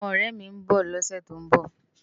Awòn òrè mi n bò lòsè tó n bò